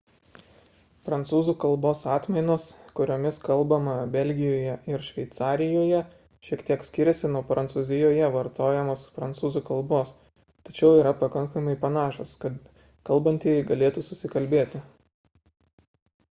prancūzų kalbos atmainos kuriomis kalbama belgijoje ir šveicarijoje šiek tiek skiriasi nuo prancūzijoje vartojamos prancūzų kalbos tačiau yra pakankamai panašios kad kalbantieji galėtų susikalbėti